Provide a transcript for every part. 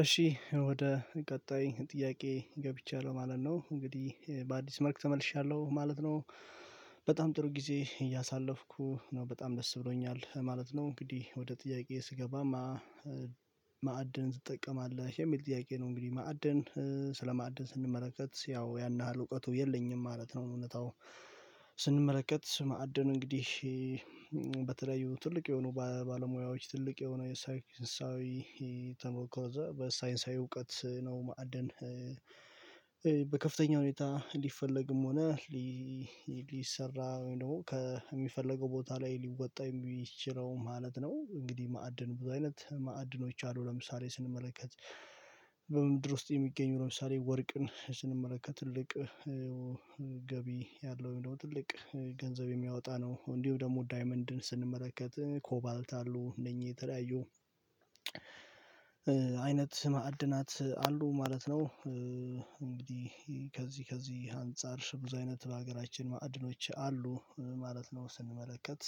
እሺ ወደ ቀጣይ ጥያቄ ገብቻለሁ ማለት ነው። እንግዲህ በአዲስ መልክ ተመልሻለሁ ማለት ነው። በጣም ጥሩ ጊዜ እያሳለፍኩ ነው። በጣም ደስ ብሎኛል ማለት ነው። እንግዲህ ወደ ጥያቄዬ ስገባ ማዕድን ትጠቀማለህ? የሚል ጥያቄ ነው እንግዲህ ማዕድን ስለማዕድን ስንመለከት ያው ያን ያህል እውቀቱ የለኝም ማለት ነው። እውነታው ስንመለከት ማዕድኑ እንግዲህ በተለያዩ ትልቅ የሆኑ ባለሙያዎች ትልቅ የሆኑ የሳይንሳዊ ተሞከረ እዛ በሳይንሳዊ እውቀት ነው ማዕድን በከፍተኛ ሁኔታ ሊፈለግም ሆነ ሊሰራ ወይም ደግሞ ከሚፈለገው ቦታ ላይ ሊወጣ የሚችለው ማለት ነው። እንግዲህ ማዕድን ብዙ አይነት ማዕድኖች አሉ ለምሳሌ ስንመለከት በምድር ውስጥ የሚገኙ ለምሳሌ ወርቅን ስንመለከት ትልቅ ገቢ ያለው ወይም ደግሞ ትልቅ ገንዘብ የሚያወጣ ነው። እንዲሁም ደግሞ ዳይመንድን ስንመለከት ኮባልት አሉ እነኚህ የተለያዩ አይነት ማዕድናት አሉ ማለት ነው። እንግዲህ ከዚህ ከዚህ አንፃር ብዙ አይነት በሀገራችን ማዕድኖች አሉ ማለት ነው። ስንመለከት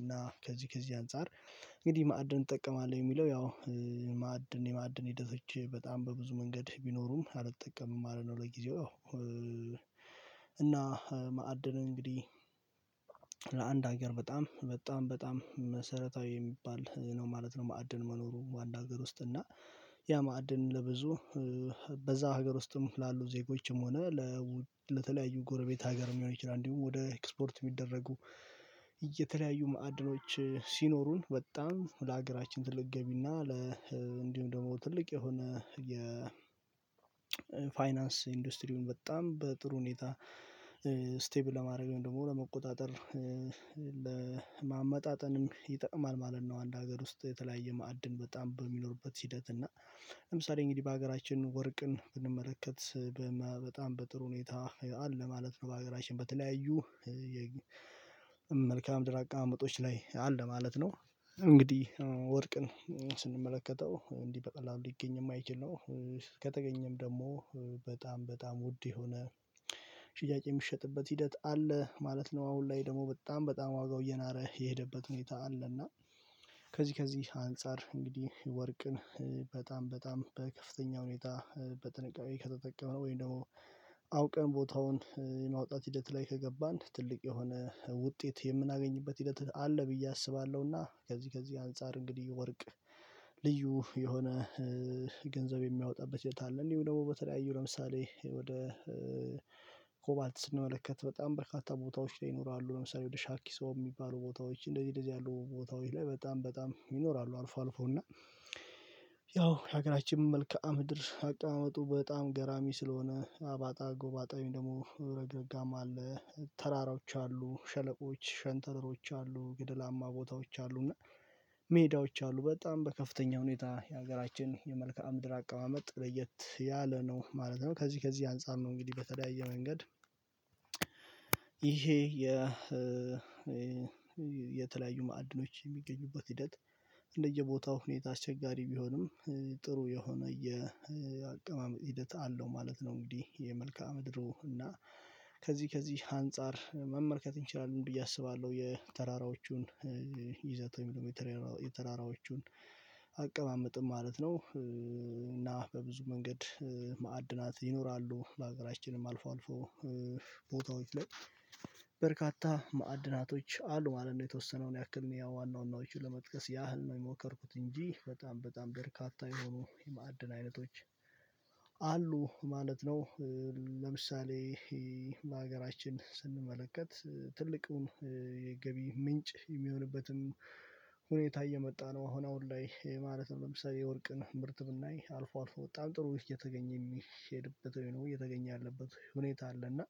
እና ከዚህ ከዚህ አንፃር እንግዲህ ማዕድን እጠቀማለሁ የሚለው ያው ማዕድን የማዕድን ሂደቶች በጣም በብዙ መንገድ ቢኖሩም አልጠቀምም ማለት ነው ለጊዜው። እና ማዕድን እንግዲህ ለአንድ ሀገር በጣም በጣም በጣም መሰረታዊ የሚባል ነው ማለት ነው ማዕድን መኖሩ በአንድ ሀገር ውስጥ እና ያ ማዕድን ለብዙ በዛ ሀገር ውስጥም ላሉ ዜጎችም ሆነ ለተለያዩ ጎረቤት ሀገርም ሊሆን ይችላል። እንዲሁም ወደ ኤክስፖርት የሚደረጉ የተለያዩ ማዕድኖች ሲኖሩን በጣም ለሀገራችን ትልቅ ገቢ እና ለ እንዲሁም ደግሞ ትልቅ የሆነ የ ፋይናንስ ኢንዱስትሪውን በጣም በጥሩ ሁኔታ ስቴብል ለማድረግ ወይም ደግሞ ለመቆጣጠር ለማመጣጠንም ይጠቅማል ማለት ነው። አንድ ሀገር ውስጥ የተለያየ ማዕድን በጣም በሚኖርበት ሂደት እና ለምሳሌ እንግዲህ በሀገራችን ወርቅን ብንመለከት በጣም በጥሩ ሁኔታ አለ ማለት ነው በሀገራችን በተለያዩ መልክአ ምድር አቀማመጦች ላይ አለ ማለት ነው። እንግዲህ ወርቅን ስንመለከተው እንዲህ በቀላሉ ሊገኝ የማይችል ነው። ከተገኘም ደግሞ በጣም በጣም ውድ የሆነ ሽያጭ የሚሸጥበት ሂደት አለ ማለት ነው። አሁን ላይ ደግሞ በጣም በጣም ዋጋው እየናረ የሄደበት ሁኔታ አለና ከዚህ ከዚህ አንፃር እንግዲህ ወርቅን በጣም በጣም በከፍተኛ ሁኔታ በጥንቃቄ ከተጠቀምነው ወይም ደግሞ አውቀን ቦታውን የማውጣት ሂደት ላይ ከገባን ትልቅ የሆነ ውጤት የምናገኝበት ሂደት አለ ብዬ አስባለሁና ከዚህ ከዚህ አንፃር እንግዲህ ወርቅ ልዩ የሆነ ገንዘብ የሚያወጣበት የት አለ። እንዲሁም ደግሞ በተለያዩ ለምሳሌ ወደ ኮባልት ስንመለከት በጣም በርካታ ቦታዎች ላይ ይኖራሉ ለምሳሌ ወደ ሻኪሶ የሚባሉ ቦታዎች እንደዚህ እንደዚህ ያሉ ቦታዎች ላይ በጣም በጣም ይኖራሉ አልፎ አልፎ እና ያው የሀገራችን መልከአ ምድር አቀማመጡ በጣም ገራሚ ስለሆነ አባጣ ጎባጣ ወይም ደግሞ ረግረጋማ አለ፤ ተራራዎች አሉ፤ ሸለቆዎች ሸንተረሮች አሉ፤ ግድላማ ቦታዎች አሉ እና ሜዳዎች አሉ በጣም በከፍተኛ ሁኔታ የሀገራችን የመልከአ ምድር አቀማመጥ ለየት ያለ ነው ማለት ነው። ከዚህ ከዚህ አንፃር ነው እንግዲህ በተለያየ መንገድ ይሄ የ የተለያዩ ማዕድኖች የሚገኙበት ሂደት እንደየቦታው ሁኔታ አስቸጋሪ ቢሆንም ጥሩ የሆነ የአቀማመጥ ሂደት አለው ማለት ነው እንግዲህ የመልክዓ ምድሩ እና ከዚህ ከዚህ አንፃር መመልከት እንችላለን ብዬ አስባለሁ የተራራዎቹን ይዘት ወይም ደግሞ የተራራዎቹን አቀማመጥም ማለት ነው እና በብዙ መንገድ ማዕድናት ይኖራሉ በሀገራችንም አልፎ አልፎ ቦታዎች ላይ በርካታ ማዕድናቶች አሉ ማለት ነው የተወሰነውን ያክል ያው ዋና ዋናዎቹን ለመጥቀስ ያህል ነው የሞከርኩት እንጂ በጣም በጣም በርካታ የሆኑ የማዕድን አይነቶች አሉ ማለት ነው። ለምሳሌ ለሀገራችን ስንመለከት ትልቁን የገቢ ምንጭ የሚሆንበትን ሁኔታ እየመጣ ነው አሁን አሁን ላይ ማለት ነው። ለምሳሌ የወርቅን ምርት ብናይ አልፎ አልፎ በጣም ጥሩ እየተገኘ የሚሄድበት ወይም ደግሞ እየተገኘ ያለበት ሁኔታ አለ እና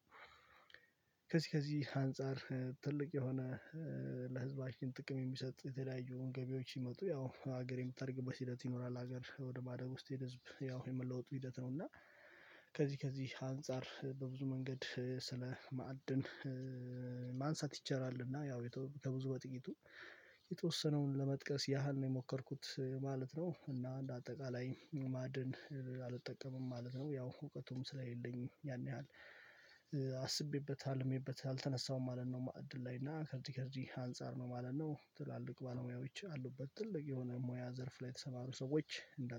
ከዚህ ከዚህ አንፃር ትልቅ የሆነ ለህዝባችን ጥቅም የሚሰጥ የተለያዩ ገቢዎች ሲመጡ ያው ሀገር የምታድግበት ሂደት ይኖራል ሀገር ወደ ማደግ ውስጥ ያው የመለወጡ ሂደት ነው እና ከዚህ ከዚህ አንፃር በብዙ መንገድ ስለማዕድን ማንሳት ይቻላል እና ያው ከብዙ በጥቂቱ የተወሰነውን ለመጥቀስ ያህል ነው የሞከርኩት ማለት ነው እና እንደ አጠቃላይ ማዕድን አልጠቀምም ማለት ነው ያው እውቀቱም ስለሌለኝ ያን ያህል አስቤበት አልሜበት አልተነሳሁም ማለት ነው ማዕድን ላይ። እና ከዚህ ከዚህ አንፃር ነው ማለት ነው። ትላልቅ ባለሙያዎች አሉበት። ትልቅ የሆነ ሙያ ዘርፍ ላይ ተሰማሩ ሰዎች እንዳት